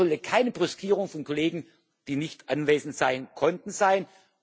Es sollte keine Brüskierung von Kollegen, die nicht anwesend sein konnten,